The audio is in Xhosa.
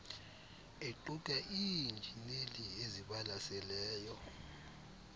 aquka iinjineli ezibalaseleyo